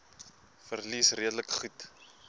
verliese redelik goed